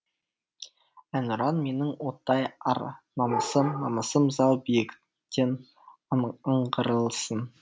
әнұран менің оттай ар намысым намысым зау биіктен аңғарылсын